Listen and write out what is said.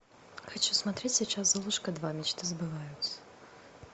хочу смотреть сейчас золушка два мечты сбываются